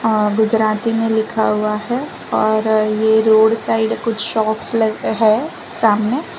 अ गुजराती में लिखा हुआ है और ये रोड साइड कुछ शॉप्स लग है सामने --